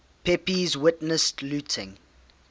pepys witnessed looting